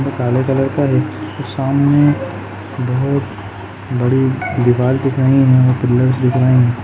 और काले कलर का एक सामने बहोत बड़ी दीवाल दिख रही है और पिलर्स दिख रहे हैं।